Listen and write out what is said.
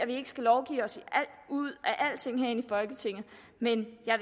ikke skal lovgive os ud af alting herinde i folketinget men jeg